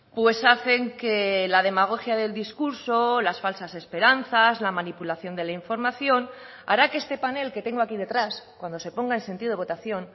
pues hacen que la demagogia del discurso las falsas esperanzas la manipulación de la información hará que este panel que tengo aquí detrás cuando se ponga en sentido votación